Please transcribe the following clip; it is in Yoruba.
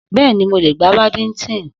Bẹ́ẹ̀ni, mo lè gbá badimítínì